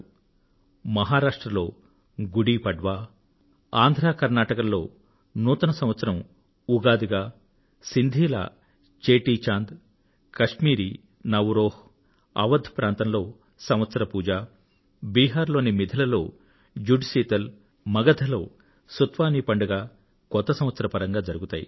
కొత్త సంవత్సర ప్రవేశ వేళ మహారాష్ట్రలో గుడీ పడ్వా ఆంధ్ర కర్ణాటకల్లో ఉగాదిగా సింధీల చేటీచాంద్ కశ్మీరీ నవ్ రేహ్ అవధ్ ప్రాంతంలో సంవత్సర పూజ బిహార్ లోని మిధిల లో జుడ్ శీతల్ మగధ లో సతువానీ పండుగలు జరుగుతాయి